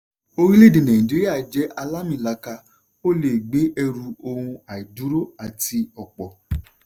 orílẹ̀èdè nàìjíríà jẹ́ àlàamìlaaka; o lè gbé ẹrù ohun àìdúró àti ọ̀pọ̀.